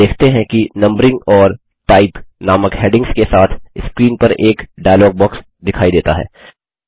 आप देखते हैं कि नंबरिंग और टाइप नामक हैडिंग्स के साथ स्क्रीन पर एक डायलॉग बॉक्स दिखाई देता है